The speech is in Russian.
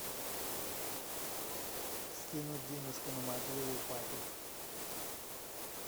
скинуть денежку на мобилу папе